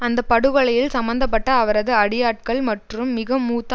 அந்த படுகொலையில் சம்பந்த பட்ட அவரது அடியாட்கள் மற்றும் மிகமூத்த